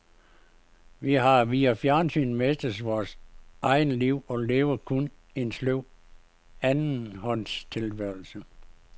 Vi har via fjernsynet mistet vores eget liv og lever kun en sløv andenhånds tilværelse.